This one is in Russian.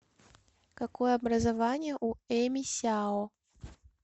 какое образование у эми сяо